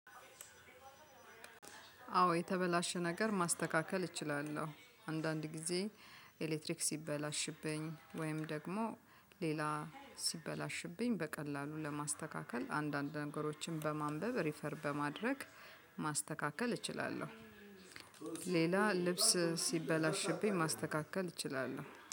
አዎ የተበላሸ ነገር ማስተካከል እችላለሁ አንዳንድ ግዜ ኤሌክትሪክ ሲበላሽብኝ ውይም ደግሞ ሌላ ሲበላሽብኝ በቀላሉ ለማስተካከል አንዳንድ ነገሮችን በማንበብ ሪፈር በማድረግ ማስተካከል እችላለሁ። ሌላ ልብስ ሲበላሽብኝ ማስተካከል እችላለሁ